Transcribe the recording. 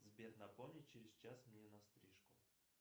сбер напомни через час мне на стрижку